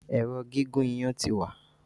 Èrò gígùn iyan tí wá.